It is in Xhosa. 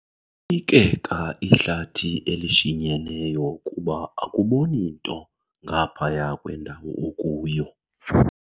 yikeka ihlathi elishinyeneyo kuba akuboni nto ngaphaya kwendawo okuyo.